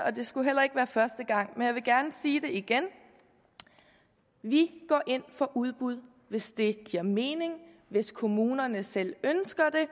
og det skulle heller ikke være første gang men jeg vil gerne sige det igen vi går ind for udbud hvis det giver mening og hvis kommunerne selv ønsker det